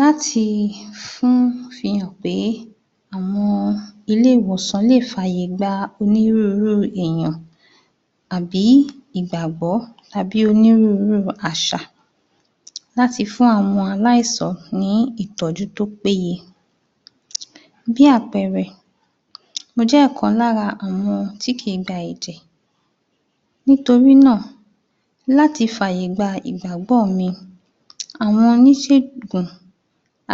Láti fihàn pé ilé-ìwòsàn lè fàyè gba onírúurú èyàn, tàbí ìgbàgbọ́ tàbí onírúurú àṣà láti fún àwọn aláìsàn ní ìtọ́jú tó pé ye. Bí àpẹẹrẹ, mo jẹ́ ọ̀kan lára àwọn tí kìí gba ẹ̀jẹ̀. Nítorínà láti fàyè gba ìgbàgbọ́ mi, àwọn oníṣègùn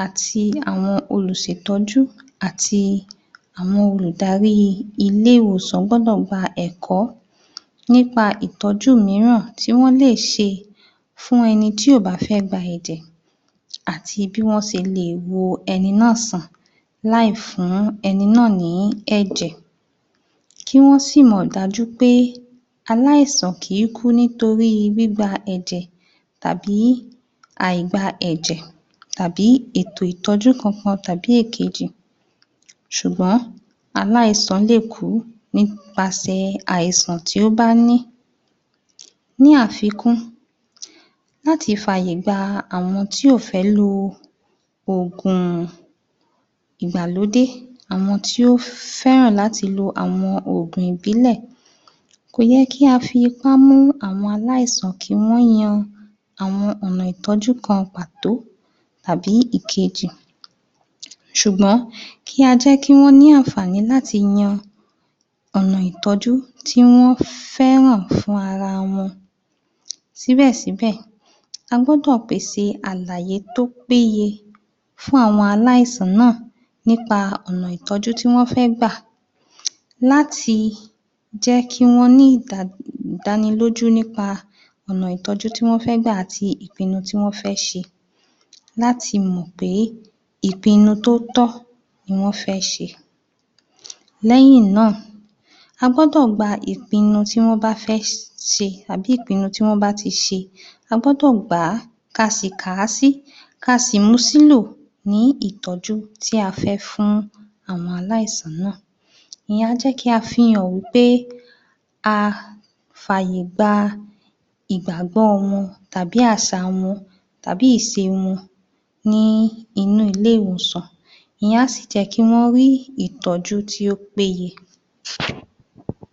àti àwọn olùṣètọ́jú àti àwọn olùdarí ilé-ìwòsàn gbọ́dọ̀ gba ẹ̀kọ́, nípa ìtọ́jú míràn tí wọ̀n le ṣe fún ẹnití ò bá fẹ́ gba ẹ̀jẹ̀ àti bí wọ́n ṣe le wo ẹni náà sàn láì fún ẹni náà ní ẹ̀jè. Kí wọ́n sìmọ̀ dájú pé aláìsàn kìí kú nípa gbígba ẹ̀jẹ̀ tàbí àìgba ẹ̀jẹ̀, tàbí ètò ìtọ́jú kankan tàbí ìkejì. Ṣùgbọ́n aláìsàn lè kú nípa àìsàn tó bá ní. Ní àfikún, láti fàyè gba àwọn tí ò fé lo òògùn ìgbàlódé àwọn tí ò féràn láti lo àwọn òògùn ìbílẹ̀. Kò yẹ kí a fi ipá mú àwọn aláìsàn kí wọ́n yan àwọn ọ̀nà ìtọ́jú kan pàtó tàbí ìkejì. Ṣùgbọ́n kíi a jẹ́ kí wọ́n ní àǹfààní láti yan ọ̀nà ìtọ́jú tí wọ́n féràn fún ara wọn. Síbẹ̀síbẹ̀, a gbódò pèse àlàyé tó péye fún àwọn aláìsàn náà nípa ọ̀nà ìtọ́jú tí wọ́n fẹ́ gbà. Láti jẹ́ kí wọ́n ní ìdánilójú nípa ọ̀nà ìtọ́jú tí wọ́n fẹ́ gbà àti ìpinnu tí wọ́n fẹ́ ṣe. Láti mọ̀ pé, ìpinnu tó tọ́ ni wọ́n fẹ́ ṣe. Lẹ́hìn náà a gbọ́dọ̀ gba ìpinnu tí wọ́n bá fẹ́ ṣe tàbí ìpinnu tí wọ́n bá ti ṣe. A gbọ́dọ̀ gbàá ka sì kàásí kasì, kasì mu sílò ní ítọ́jú ti a fe fún àwọn aláìsàn náà. Ìyẹn á jẹ́ kí a fi hàn wípé a fàyè gba ìgbàgbọ́ wọn tabi àṣà wọn tàbi ìṣe àwọn ní inú ile-ìwòsàn. ìyẹn á sì jẹ kí wọn rì ìtọ́jú tí ó péyé.